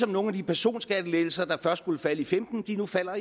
nogle af de personskattelettelser der først skulle falde i femten de falder